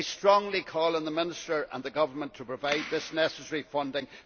I strongly urge the Minister and the Government to provide this necessary funding.